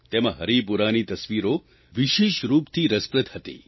તેમાં હરિપુરાની તસવીરો વિશેષ રૂપથી રસપ્રદ હતી